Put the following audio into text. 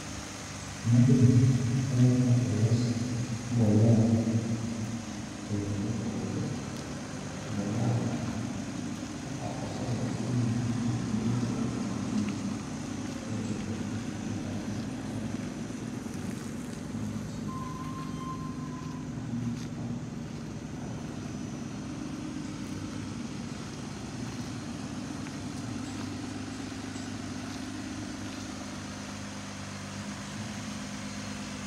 iGmatimore ka aneno ka olos mbolea eyoo mopogore ,mbolea gi kaka oselosgi mong'in gi bedo mayot mar ting'o kaitero gi e ndalo kata epuodho ma ibitiye kodgi to be konyo mar kao gi kiketo e tie kama ikete cham kata kama idhi pidhie cham ebuche buche achiel kachiel maok iketho mbolea epuodho gi lachne duto.